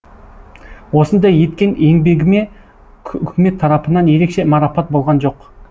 осындай еткен еңбегіме үкімет тарапынан ерекше марапат болған жоқ